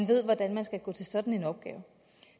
ved hvordan man skal gå til sådan en opgave